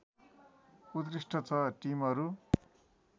उत्कृष्ट छ टिमहरू